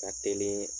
Ka teli